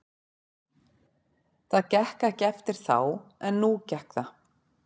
Það gekk ekki eftir þá en nú gekk það.